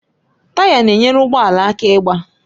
Taya na-enyere ụgbọ ala aka ịgbaa